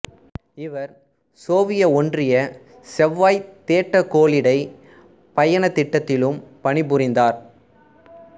இவர் சோவியத் ஒன்றிய செவ்வாய்த் தேட்ட கோளிடைப் பயணத் திட்டத்திலும் பணிபுரிந்தார்